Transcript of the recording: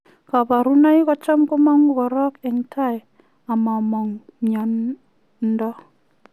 Kabarunoik kochaam komanguu korok eng tai amamaang miondoo